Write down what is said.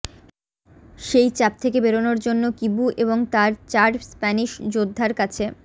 সেই চাপ থেকে বেরোনোর জন্য কিবু এবং তাঁর চার স্প্যানিশ যোদ্ধার কাছে